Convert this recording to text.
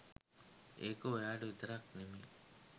ඒක ඔයාට විතරක් නෙමේ